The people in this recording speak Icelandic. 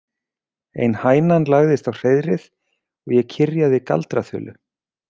Ein hænan lagðist á hreiðrið og ég kyrjaði galdraþulu.